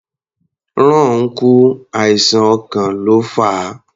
Ron kú, àìsàn ọkàn ló fà á.